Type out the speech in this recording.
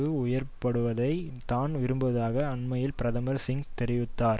உயர்த்தப்படுவதை தான் விரும்புவதாக அண்மையில் பிரதமர் சிங் தெரிவித்தார்